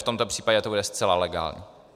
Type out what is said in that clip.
V tomto případě to bude zcela legální.